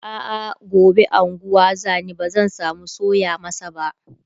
a'a gobe unguwa zani bazan samu soya masa ba